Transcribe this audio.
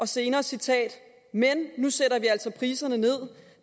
senere citat men nu sætter vi altså priserne ned